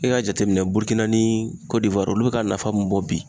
E ka jateminɛ Burukina ni kɔdivuari olu be ka nafa mun bɔ bi